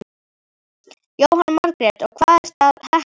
Jóhanna Margrét: Og hvað ertu að hekla?